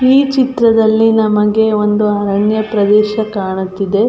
ಈ ಚಿತ್ರದಲ್ಲಿ ನಮಗೆ ಒಂದು ಅರಣ್ಯ ಪ್ರದೇಶ ಕಾಣುತ್ತಿದೆ.